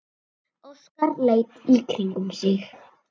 Óskar leit í kringum sig.